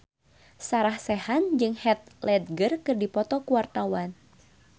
Sarah Sechan jeung Heath Ledger keur dipoto ku wartawan